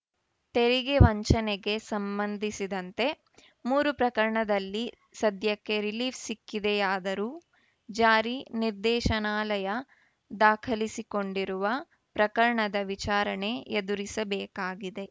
ತೆರಿಗೆ ವಂಚನೆಗೆ ಸಂಬಂಧಿಸಿದಂತೆ ಮೂರು ಪ್ರಕರಣದಲ್ಲಿ ಸದ್ಯಕ್ಕೆ ರಿಲೀಫ್‌ ಸಿಕ್ಕಿದೆಯಾದರೂ ಜಾರಿ ನಿರ್ದೇಶನಾಲಯ ದಾಖಲಿಸಿಕೊಂಡಿರುವ ಪ್ರಕರಣದ ವಿಚಾರಣೆ ಎದುರಿಸಬೇಕಾಗಿದೆ